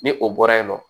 Ni o bɔra yen nɔ